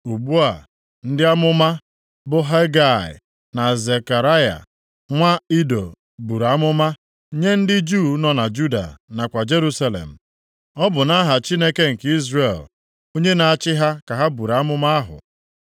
Ugbu a, ndị amụma, bụ Hegai, na Zekaraya nwa Ido buru amụma nye ndị Juu nọ na Juda nakwa Jerusalem. Ọ bụ nʼaha Chineke nke Izrel, onye na-achị ha ka ha buru amụma ahụ.